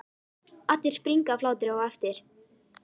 Allir springa af hlátri á eftir.